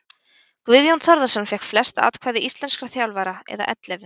Guðjón Þórðarson fékk flest atkvæði íslenskra þjálfara eða ellefu.